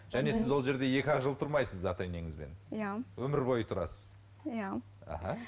және сіз ол жерде екі ақ жыл тұрмайсыз ата енеңізбен иә өмір бойы тұрасыз иә аха